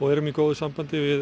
erum í góðu sambandi við